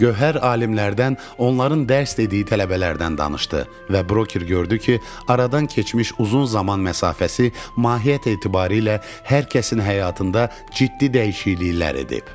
Gövhər alimlərdən, onların dərs dediyi tələbələrdən danışdı və broker gördü ki, aradan keçmiş uzun zaman məsafəsi mahiyyət etibarı ilə hər kəsin həyatında ciddi dəyişikliklər edib.